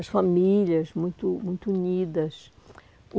As famílias muito muito unidas.